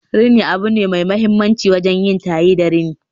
rini abu ne mai mahimmanci wajen yin taye da rini